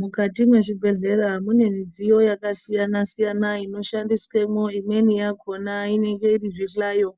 Mukati mwezvibhedhlera mune midziyo yakasiyana siyana inoshandiswemwo. Imweni yakona inenge iri zvihlayo